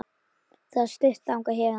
Það er stutt þangað héðan.